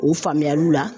O faamuyaliw la